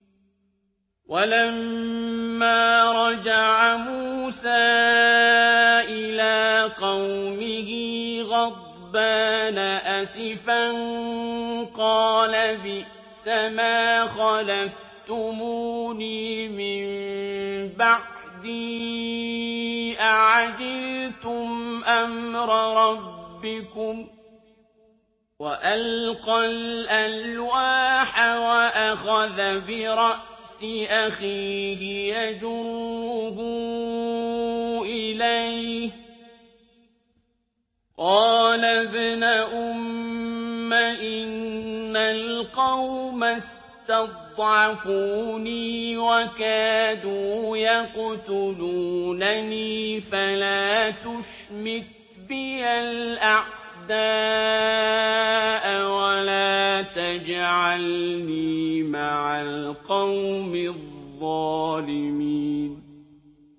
وَلَمَّا رَجَعَ مُوسَىٰ إِلَىٰ قَوْمِهِ غَضْبَانَ أَسِفًا قَالَ بِئْسَمَا خَلَفْتُمُونِي مِن بَعْدِي ۖ أَعَجِلْتُمْ أَمْرَ رَبِّكُمْ ۖ وَأَلْقَى الْأَلْوَاحَ وَأَخَذَ بِرَأْسِ أَخِيهِ يَجُرُّهُ إِلَيْهِ ۚ قَالَ ابْنَ أُمَّ إِنَّ الْقَوْمَ اسْتَضْعَفُونِي وَكَادُوا يَقْتُلُونَنِي فَلَا تُشْمِتْ بِيَ الْأَعْدَاءَ وَلَا تَجْعَلْنِي مَعَ الْقَوْمِ الظَّالِمِينَ